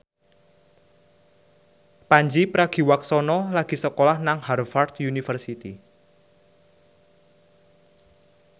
Pandji Pragiwaksono lagi sekolah nang Harvard university